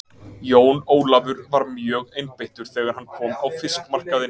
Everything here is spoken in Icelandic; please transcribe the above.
Jón Ólafur var mjögeinbeittur þegar hann kom á fiskmarkaðinn.